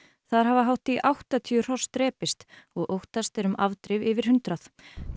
þar hafa hátt í áttatíu hross drepist og óttast er um afdrif yfir hundrað